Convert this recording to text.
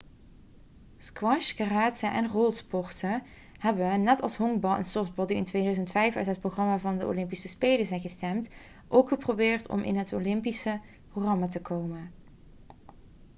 squash karate en rolsporten hebben net zoals honkbal en softbal die in 2005 uit het programma van de olympische spelen zijn gestemd ook geprobeerd om in het olympische programma te komen